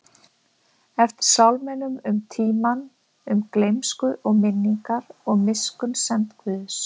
eftir sálminum um tímann, um gleymsku og minningar, og miskunnsemd Guðs.